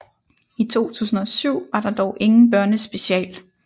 I 2007 var der dog ingen børnespecial